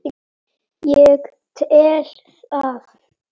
Ég tel það.